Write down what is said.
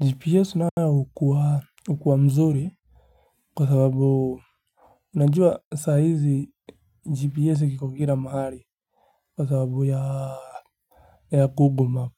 Gps nayo hukua mzuri kwa sababu unajua saa hizi gps kiko kila mahali kwa sababu ya google map